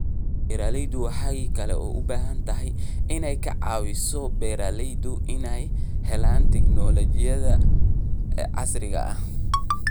Dawladdu waxay kaloo u baahan tahay inay ka caawiso beeralayda inay helaan tignoolajiyada casriga ah.